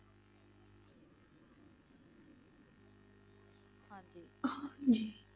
ਹਾਂਜੀ।